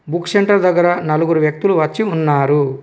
Book centre దగ్గర నలుగురు వ్యక్తులు వచ్చి ఉన్నారు.